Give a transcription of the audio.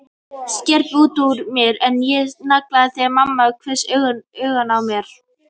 skreppur út úr mér en ég snarþagna þegar mamma hvessir augun á mig.